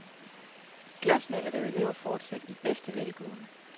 Glasmaleriet lever fortsat i bedste velgående.